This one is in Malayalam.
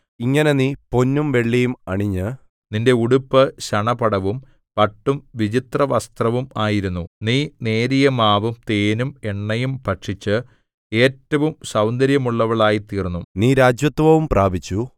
ഇങ്ങനെ നീ പൊന്നും വെള്ളിയും അണിഞ്ഞു നിന്റെ ഉടുപ്പ് ശണപടവും പട്ടും വിചിത്രവസ്ത്രവും ആയിരുന്നു നീ നേരിയമാവും തേനും എണ്ണയും ഭക്ഷിച്ച് ഏറ്റവും സൗന്ദര്യമുള്ളവളായിത്തീർന്നു നീ രാജത്വവും പ്രാപിച്ചു